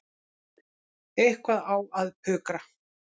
Eitthvað á að pukra.